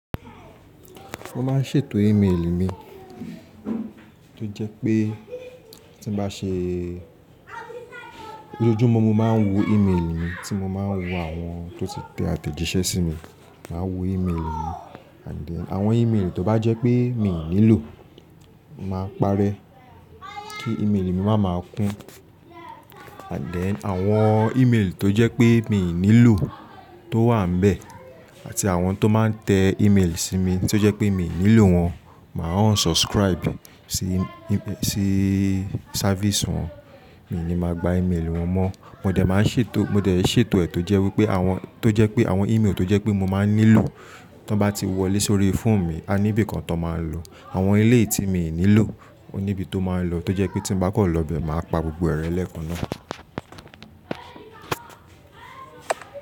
Mo máa ń ṣètò email mi, tó jẹ pé tí n bá ṣe-- lójoojúmọ́ ni mo máa ń wo email mi tí mo máa ń wo àwọn tó ti tẹ àtẹ̀jíṣẹ́ sí mi. Màá wo email mi and then àwọn email tó bá jẹ pé mi ò nílò, mo màá parẹ́ kí email mi máa máa kun. And then àwọn email tó jẹ pé mi ò nílò tó wà níbẹ̀ àti àwọn tó máa ń tẹ email sí mi tí ó jẹ́ pé mi ò nílò wọ́n, màá unsubscribe sí, sí service wọ́n. Mio ni màá gba email wọn mọ́. Mo dẹ̀ máa ń ṣètò-- mo dẹ̀ n ṣètò ẹ́ tó jẹ́ wípé àwọn, tó jẹ́ pé àwọn email tó jẹ́ pé mo máa ń nílò tí wọ́n bá ti wọlé sórí phone mi, a níbi kan tón máa ń lọ. Àwọn ilé tí mi ò nílò ó níbi tó máa ń lọ, tó jẹ́ pé tí mo bá kàn lọ bẹ máa pa gbogbo ẹ̀ re lẹẹ́kan náà.